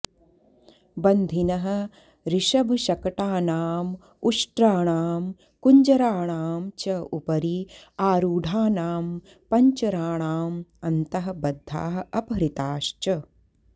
बन्धिनः ऋषभशकटानाम् उष्ट्राणाम् कुञ्जराणाम् च उपरि आरूढानां पञ्चराणाम् अन्तः बद्धाः अपहृताश्च